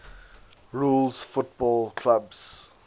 rules football clubs